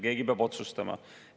Keegi peab otsustama.